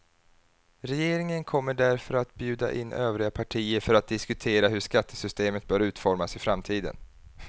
Regeringen kommer därför att bjuda in övriga partier för att diskutera hur skattesystemet bör utformas i framtiden.